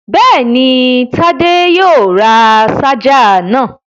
Bẹ́ẹ̀ni, Tádé yóò ra ṣáájà náà.